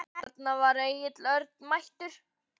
Þarna var Egill Örn mættur.